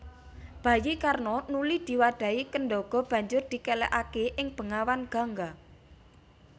Bayi Karna nuli diwadhahi kendhaga banjur dikelekaké ing bengawan Gangga